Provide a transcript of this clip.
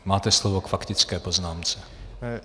Máte slovo k faktické poznámce.